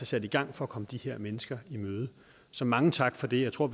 sat i gang for at komme de her mennesker i møde så mange tak for det jeg tror